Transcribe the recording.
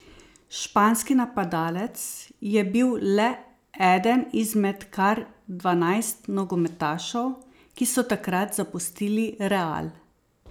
Španski napadalec je bil le eden izmed kar dvanajst nogometašev, ki so takrat zapustili Real.